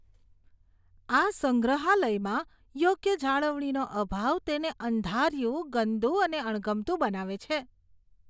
આ સંગ્રહાલયમાં યોગ્ય જાળવણીનો અભાવ તેને અંધારિયું, ગંદુ અને અણગમતું બનાવે છે.